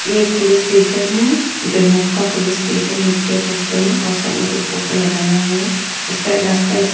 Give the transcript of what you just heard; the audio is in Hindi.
एक पुलिस स्टेशन है दोईमुख पुलिस स्टेशन लिखा है पोस्टर में और साइड में कुछ पोस्टर लगाया हुआ है उसका रास्ता इसका--